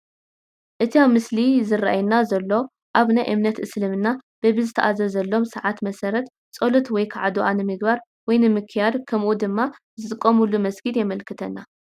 እቲ ኣብቲ ምስሊ ዝራኣየና ዘሎ ኣብ ናይ እምነት እስልምና በቢዝተኣዘዘሎም ሰዓት መሰረት ፀሎት ወይ ከዓ ዱዓ ንምግባር/ንምክያድ ከምኡ ድማ ዝጥቀምሉ መስጊድ የመልክተና፡፡